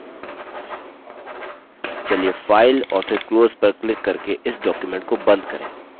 चलिए file और फिर close पर क्लिक करके इस document को बंद करें